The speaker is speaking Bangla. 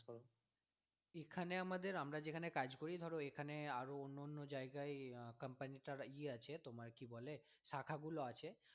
এখানে আমাদের আমরা যেখানে কাজ করি ধরো এখানে আরো অন্যান্য জায়গায় আহ company টার ইয়ে আছে তোমার কি বলে শাখা গুলো আছে